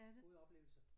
Gode oplevelser